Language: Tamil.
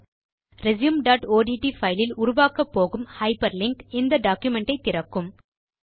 resumeஒட்ட் பைல் இல் உருவாக்கப்போகும் ஹைப்பர்லிங்க் இந்த டாக்குமென்ட் ஐ திறக்கும்